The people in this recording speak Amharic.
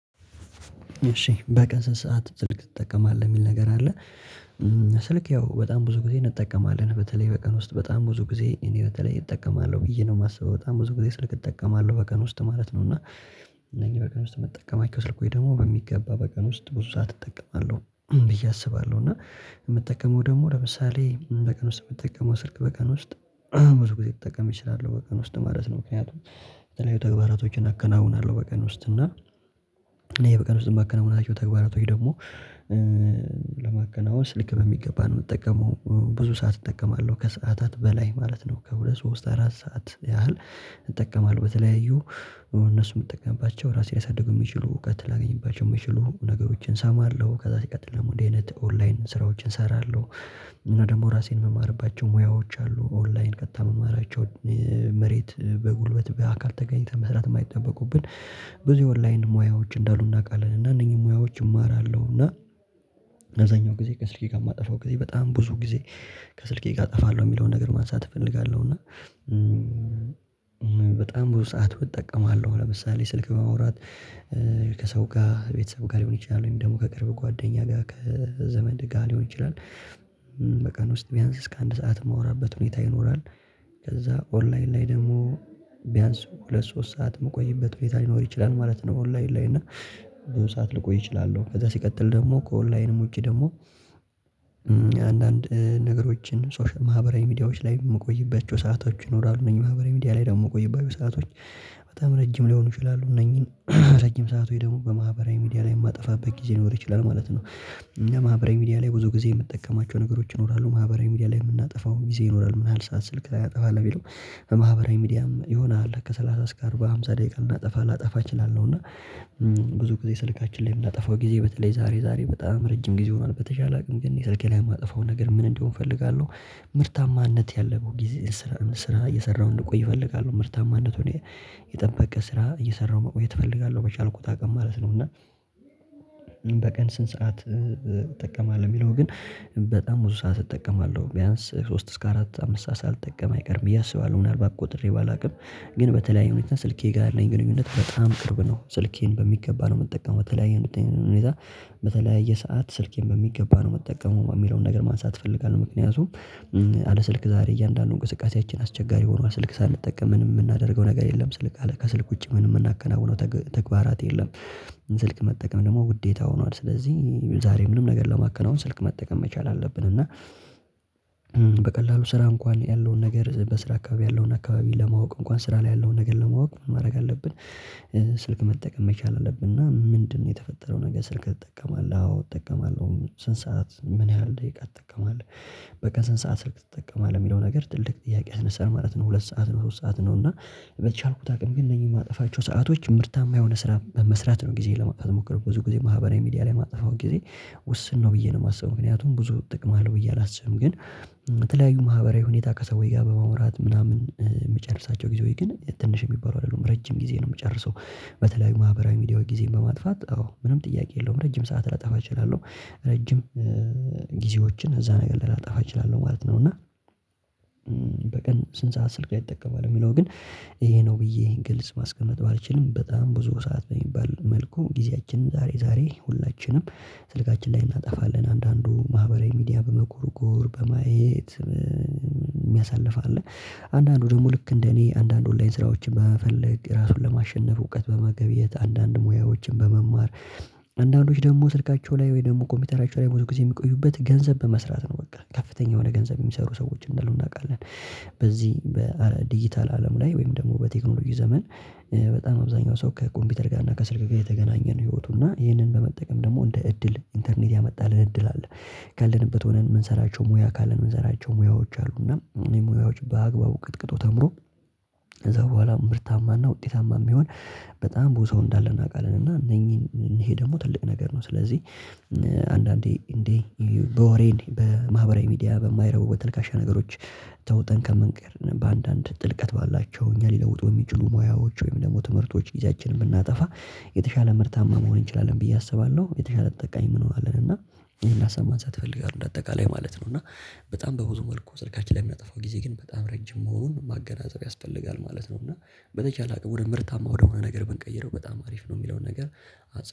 እሺ በቀን ሰዓት ስልክ ይጠቀማል የሚል ነገር አለ። ስልክ ያው በጣም ብዙ ጊዜ እንጠቀማለን በተለይ በቀን ውስጥ በጣም ብዙ ጊዜ እኔ በተለይ እጠቀማለሁ ብዬ ነው የማስበው በጣም ብዙ ጊዜ ስልክ እጠቀማለሁ በቀን ውስጥ ማለት ነው። እና እነኚህ በቀን ውስጥ መጠቀም አይቼው ስልኩ ወይ ደግሞ በሚገባ በቀን ውስጥ ብዙ ሰዓት እጠቀማለሁ ብዬ አስባለሁ። እና የምጠቀመው ደግሞ ለምሳሌ በቀን ውስጥ የምትጠቀመው ስልክ በቀን ውስጥ ብዙ ጊዜ ተጠቀም እችላለሁ በቀን ውስጥ ማለት ነው። ምክንያቱም የተለያዩ ተግባራቶችን አከናውናለሁ በቀን ውስጥ እና እኔ በቀን ውስጥ ማከናወናታቸው ተግባራቶች ደግሞ ለማገናወስ ሊክ በሚገባ ነው የምጠቀመው ብዙ ሰዓት እጠቀማለሁ ከሰዓታት በላይ ማለት ነው። ከሁለት ሶስት አራት ሰዓት ያህል እጠቀማለሁ በተለያዩ እነሱ የምትጠቀምባቸው ራሴ ሊያሳድጉ የሚችሉ እውቀት ላገኝባቸው የሚችሉ ነገሮችን እሰማለሁ ከዛ ሲቀጥል ደግሞ እንደዚህ አይነት ኦንላይን ስራዎችን እሰራለሁ። እና ደግሞ ራሴን የምማርባቸው ሙያዎች አሉ ኦንላይን ከታመማራቸው መሬት በጉልበት በአካል ተገኝተህ መስራት የማይጠበቁብን ብዙ ኦንላይን ሙያዎች እንዳሉ እናውቃለን። እና እነኚህ ሙያዎች እማራለሁ እና እነዛኛው ጊዜ ከስልኬ ጋር የማጠፋው ጊዜ በጣም ብዙ ጊዜ ከስልኬ ጋር አጠፋለሁ የሚለውን ነገር ማንሳት እፈልጋለሁ። እና በጣም ብዙ ሰዓት እጠቀማለሁ ለምሳሌ ስልክ በማውራት ከሰው ጋር ቤተሰብ ጋር ሊሆን ይችላል ወይም ደግሞ ከቅርብ ጓደኛ ጋር ከዘመድ ጋ ሊሆን ይችላል። በቀን ውስጥ ቢያንስ እስከ አንድ ሰዓት የምወራበት ሁኔታ ይኖራል። ከዛ ኦንላይን ላይ ደግሞ ቢያንስ ሁለት ሶስት ሰዓት የምቆይበት ቤት ሊኖር ይችላል ማለት ነው። ኦንላይን ላይ እና ብዙ ሰዓት ልቆይ እችላለሁ። ከዛ ሲቀጥል ደግሞ ከኦንላይንም ውጪ ደግሞ አንዳንድ ነገሮችን ማህበራዊ ሚዲያዎች ላይ የምቆይበት ሰአቶች ይኖራሉ እነዚህ ማህበራዊ ሚዲያ ላይ ደግሞ የምቆይባቸው ሰአቶች በጣም ረጅም ሊሆኑ ይችላሉ። እነኚህን ረጅም ሰዓት ሆይ ደግሞ በማህበራዊ ሚዲያ ላይ የማጠፋበት ጊዜ ሊኖር ይችላል ማለት ነው። ለማህበራዊ ሚዲያ ላይ ብዙ ጊዜ የምጠቀማቸው ነገሮች ይኖራሉ ማህበራዊ ሚዲያ ላይ የምናጠፋው ጊዜ ይኖራል ምን ያህል ሰዓት ስልክ ላይ አጠፋለሁ ቢለው በማህበራዊ ሚዲያም የሆነ አለ ከሠላሳ እስከ አርባ አምሳ ደቂቃ ልናጠፋ ልናጠፋ እችላለሁ። እና ብዙ ጊዜ ስልካችን ላይ የምናጠፋው ጊዜ በተለይ ዛሬ ዛሬ በጣም ረጅም ጊዜ ሆኗል በተቻለ አቅም ግን የስልኬ ላይ የማጠፋው ነገር ምን እንደሆንኩኝ እፈልጋለሁ። ምርታማነት ያለብህ ጊዜ ስራ ስራ እየሰራሁ እንድቆይ እፈልጋለሁ ምርታማ እንድትሆን የጠበቀ ስራ እየሰራሁ መቆየት እፈልጋለሁ በቻልኩት አቅም ማለት ነው። እና በቀን ስንት ሰዓት እጠቀማለሁ የሚለው ግን በጣም ብዙ ሰዓት እጠቀማለሁ ቢያንስ ሶስት እስከ አራት አምስት ሰዓት ሳልጠቀም አቀርም ብዬ አስባለሁ ምናልባት ቆጥሬ ባላውቅም ግን በተለይ ሁኔታ ስልኬ ጋር ያለኝ ግንኙነት በጣም ቅርብ ነው። ስልኬን በሚገባ ነው የምጠቀመው በተለያየ ሁኔታ በተለያየ ሰዓት ስልኬን በሚገባ ነው መጠቀሙ የሚለውን ነገር ማንሳት እፈልጋለሁ። ምክንያቱም አለ ስልክ ዛሬ እያንዳንዱን እንቅስቃሴያችን አስቸጋሪ ሆኗል ስልክ ሳንጠቀምን የምናደርገው ነገር የለም ስልክ አለ ከስልክ ውጪ ምንም የምናከናውነው ተግባራት የለም። ስልክ መጠቀም ደግሞ ጉዴታ ሆኗል ስለዚህ ዛሬ ምንም ነገር ለማከናወን ስልክ መጠቀም መቻል አለብን እና በቀላሉ ስራ እንኳን ያለውን ነገር በስራ አካባቢ ያለውን አካባቢ ለማወቅ እንኳን ስራ ላይ ያለውን ነገር ለማወቅ ማድረግ አለብን። ስልክ መጠቀም መቻል አለብን እና ምንድነው? የተፈጠረው ነገር ስልክ ትጠቀማለህ አዎ እጠቀማለሁ ስንት ሰዓት ምን ያህል ደቂቃ ትጠቀማለህ? በቀን ስንት ሰዓት ስልክ ትጠቀማለህ? የሚለው ነገር ትልቅ ጥያቄህን ስንሰራ ማለት ነው ሁለት ሰዓት ነው ሶስት ሰዓት ነው እና በቻልኩት አቅም ግን እነዚህ የማጠፋቸው ሰአቶች ምርታማ የሆነ ስራ መስራት ነው። ጊዜ ለማጥፋት ሞክረው ብዙ ጊዜ ማህበራዊ ሚዲያ ላይ ማጥፋው ጊዜ ውስን ነው ብዬ ነው የማስበው ምክንያቱም ብዙ ጥቅም አለው ብዬ አላስብም። ግን በተለያዩ ማህበራዊ ሁኔታ ከሰው ወይ ጋር በመውራት ምናምን የሚጨርሳቸው ጊዜ ወይ ግን ትንሽ የሚባለው አይደለም ረጅም ጊዜ ነው የምጨርሰው። በተለይ ማህበራዊ ሚዲያው ጊዜ በማጥፋት አዎ ምንም ጥያቄ የለውም። ረጅም ሰዓት ላጣፋ እችላለሁ ረጅም ጊዜዎችን እዛ ነገር ላጣፋ እችላለሁ ማለት ነው። እና በቀን ስንት ሰዓት ስልክ ይጠቀማል? የሚለው ግን ይሄ ነው ብዬ ግልጽ ማስቀመጥ ባልችልም በጣም ብዙ ሰዓት በሚባል መልኩ ጊዜያችንን ዛሬ ዛሬ ሁላችንም ስልካችን ላይ እናጠፋለን። አንዳንዱ ማህበራዊ ሚዲያ በመኮርኮር በማየት የሚያሳልፍ አለ አንዳንዱ ደግሞ ልክ እንደ እኔ አንዳንድ ኦንላይን ስራዎችን በመፈለግ ራሱን ለማሸነፍ እውቀት በመገብየት አንዳንድ ሙያዎችን በመማር አንዳንዶች ደግሞ ስልካቸው ላይ ወይ ደግሞ ኮምፒውተራቸው ላይ ብዙ ጊዜ የሚቆዩበት ገንዘብ በመስራት ነው በቃ ከፍተኛ የሆነ ገንዘብ የሚሰሩ ሰዎች እንደሆኑ እናውቃለን። በዚህ በዲጂታል አለም ላይ ወይም ደግሞ በቴክኖሎጂ ዘመን በጣም አብዛኛው ሰው ከኮምፒውተር ጋር እና ከስልክ ጋር የተገናኘ ነው ህይወቱ እና ይህንን በመጠቀም ደግሞ እንደ እድል ኢንተርኔት ያመጣልን እድል አለ። ካለንበት ሆነን የምንሰራቸው ሙያ ካለን የምንሰራቸው ሙያዎች አሉና የሙያዎች በአግባቡ ቅጥቅጦ ተምሮ ከዛ በኋላ ምርታማና ውጤታማ የሚሆን በጣም ቦታው እንዳለ እናውቃለን እና እነኚህን ይሄ ደግሞ ትልቅ ነገር ነው። ስለዚህ አንዳንዴ እንዴ በወሬን በማህበራዊ ሚዲያ በማይረቡ በተለካሸ ነገሮች ተውጠን ከምንቀር በአንዳንድ ጥልቀት ባላቸው እኛ ሊለውጡ የሚችሉ ሙያዎች ወይም ደግሞ ትምህርቶች ጊዜያችንን ብናጠፋ የተሻለ ምርታማ መሆን እንችላለን ብዬ አስባለሁ። የተሻለ ተጠቃሚ ምን እንሆናለን እና ይሄን ላሰማን ሳትፈልግ በአጠቃላይ ማለት ነው። እና በጣም በብዙ መልኩ ስልካችን ላይ የሚያጠፋው ጊዜ ግን በጣም ረጅም መሆኑን ማገናጸብ ያስፈልጋል ማለት ነው። እና በተቻለ አቅም ወደ ምርታማ ወደሆነ ነገር ብንቀይረው በጣም አሪፍ ነው የሚለውን ነገር።